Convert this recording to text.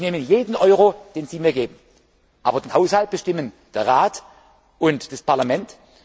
mit. Ich nehme jeden Euro, den Sie mir geben. Aber den Haushalt bestimmen der Rat und das